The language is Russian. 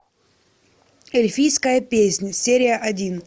эльфийская песнь серия один